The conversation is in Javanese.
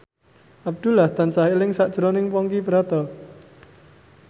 Abdullah tansah eling sakjroning Ponky Brata